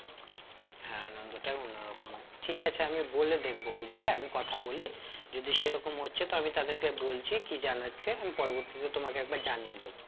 হ্যাঁ আনন্দটাই অন্য রকম হয়ে ঠিক আছে আমি বলে দেখবো বুঝলে আমি কথা বলি যদি সেরকম হচ্ছে তো আমি তাদেরকে বলছি কি জানাচ্ছি আমি পরবর্তীতে তোমাকে একবার জানিয়ে দেব